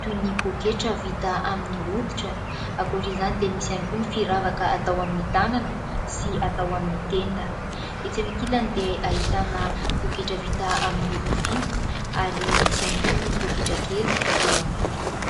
toy ny pôketra vita amin'ny hoditra, ankoatr'izany dia misy ihany koa ny firavaka atao amin'ny tanana sy atao amin'ny tenda, etsy ankilany dia ahitana pôketra vita amin'ny rofia ary misy ihany koa ny pôketra kely fitoeram-bola.